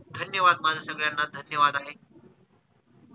धन्यवाद माझा सगळ्यांना धन्यवाद आहे.